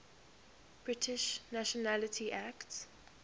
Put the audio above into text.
british nationality act